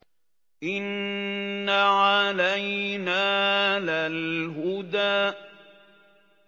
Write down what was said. إِنَّ عَلَيْنَا لَلْهُدَىٰ